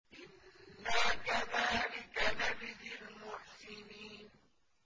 إِنَّا كَذَٰلِكَ نَجْزِي الْمُحْسِنِينَ